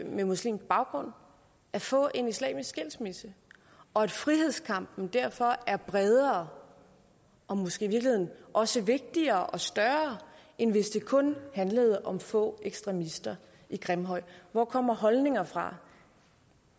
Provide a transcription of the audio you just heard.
med muslimsk baggrund at få en islamisk skilsmisse og at frihedskampen derfor er bredere og måske i virkeligheden også vigtigere og større end hvis det kun handlede om få ekstremister i grimhøj hvor kommer holdninger fra